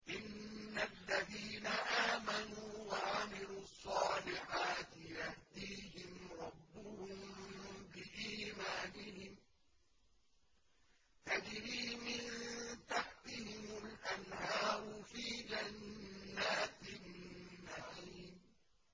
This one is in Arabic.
إِنَّ الَّذِينَ آمَنُوا وَعَمِلُوا الصَّالِحَاتِ يَهْدِيهِمْ رَبُّهُم بِإِيمَانِهِمْ ۖ تَجْرِي مِن تَحْتِهِمُ الْأَنْهَارُ فِي جَنَّاتِ النَّعِيمِ